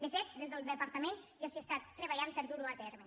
de fet des del departament ja s’hi està treballant per a dur ho a terme